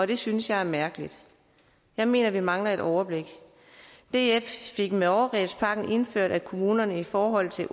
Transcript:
det synes jeg er mærkeligt jeg mener vi mangler et overblik df fik med overgrebspakken indført at kommunerne i forhold til